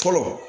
Fɔlɔ